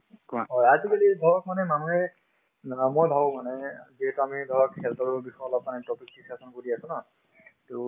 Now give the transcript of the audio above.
অ, আজিকালি ধৰক মানে মানুহে অ মই ভাবো মানে যি কামেই ধৰক health ৰ বিষয়ে অলপমানে topic discussion কৰি আছো ন to